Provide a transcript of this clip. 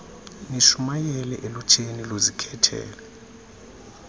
nishumayele elutsheni luzikhethele